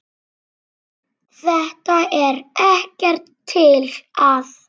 Þetta er ekkert til að.